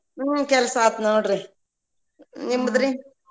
ಹ್ಮ್‌ ಕೆಲ್ಸ ಆಯ್ತ ನೋಡ್ರಿ ನಿಮ್ದ್ರಿ?